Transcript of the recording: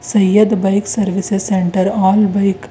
Syed bike services centre all bike --